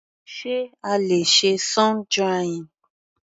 Sé a le ṣe sun drying?